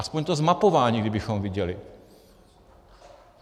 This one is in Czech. Aspoň to zmapování kdybychom viděli.